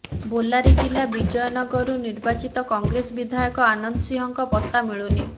ବେଲାରି ଜିଲ୍ଲା ବିଜୟ ନଗରରୁ ନିର୍ବାଚିତ କଂଗ୍ରେସ ବିଧାୟକ ଆନନ୍ଦ ସିଂହଙ୍କ ପତ୍ତା ମିଳୁନି